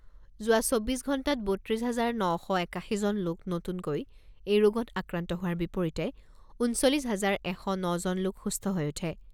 যোৱা চৌব্বিছ ঘণ্টাত বত্ৰিছ হাজাৰ ন শ একাশীজন লোক নতুনকৈ এই ৰোগত আক্ৰান্ত হোৱাৰ বিপৰীতে ঊনচল্লিছ হাজাৰ এশ ন জন লোক সুস্থ হৈ উঠে।